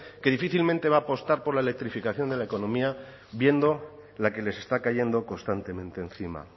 que difícilmente va a apostar por la electrificación de la economía viendo la que les está cayendo constantemente encima